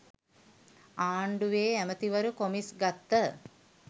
ආණ්ඩුවෙ ඇමතිවරු කොමිස් ගත්ත